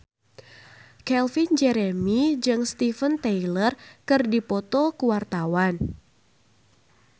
Calvin Jeremy jeung Steven Tyler keur dipoto ku wartawan